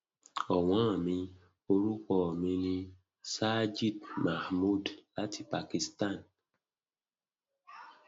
ọwọn mi orúkọ mi ni sajid mahmood láti pakistan